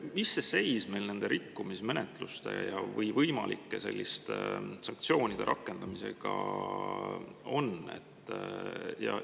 Mis seis on meil nende rikkumismenetluste või võimalike selliste sanktsioonide rakendamisega?